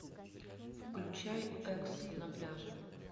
включай экс на пляже